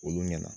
Olu ɲɛna